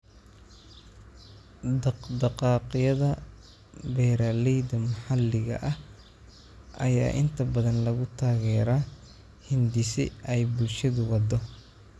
Dhaqdhaqaaqyada beeralayda maxalliga ah ayaa inta badan lagu taageeraa hindise ay bulshadu waddo.